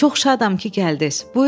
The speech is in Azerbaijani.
Çox şadam ki, gəldiz.